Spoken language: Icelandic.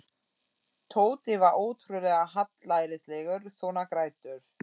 Tóti var ótrúlega hallærislegur svona greiddur.